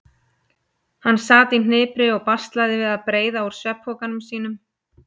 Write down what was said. Hann sat í hnipri og baslaði við að breiða úr svefnpokanum sínum.